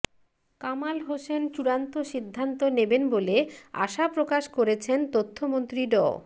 কামাল হোসেন চূড়ান্ত সিদ্ধান্ত নেবেন বলে আশা প্রকাশ করেছেন তথ্যমন্ত্রী ড